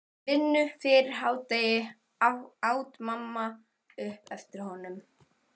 Vinnu fyrir hádegi, át mamma upp eftir honum.